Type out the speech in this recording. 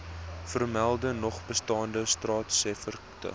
voormelde nogbestaande staatseffekte